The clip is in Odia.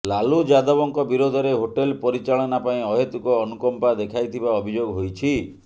ଲାଲୁ ଯାଦବଙ୍କ ବିରୋଧରେ ହୋଟେଲ ପରିଚାଳନା ପାଇଁ ଅହେତୁକ ଅନୁକମ୍ପା ଦେଖାଇଥିବା ଅଭିଯୋଗ ହୋଇଛି